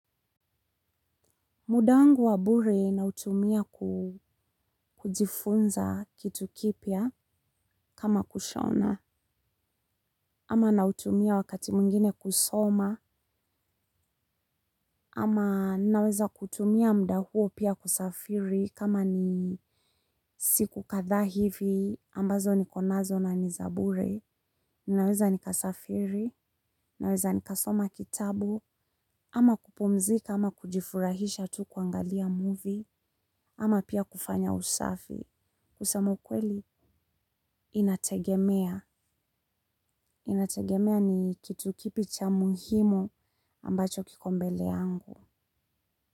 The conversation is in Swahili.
Muda wangu wa bure nautumia ku kujifunza kitu kipya kama kushona ama nautumia wakati mwingine kusoma ama naweza kutumia muda huo pia kusafiri kama ni siku kadhaa hivi ambazo niko nazo na ni za bure naweza nikasafiri naweza nikasoma kitabu ama kupumzika ama kujifurahisha tu kuangalia muvi ama pia kufanya usafi. Kusema ukweli inategemea. Inategemea ni kitu kipi cha muhimu ambacho kiko mbele yangu.